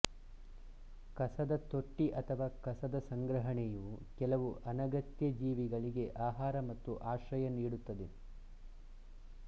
ಕಸದ ತೊಟ್ಟಿ ಅಥವಾ ಕಸ ಸಂಗ್ರಹಣೆಯು ಕೆಲವು ಅನಗತ್ಯ ಜೀವಿಗಳಿಗೆ ಆಹಾರ ಮತ್ತು ಆಶ್ರಯ ನೀಡುತ್ತದೆ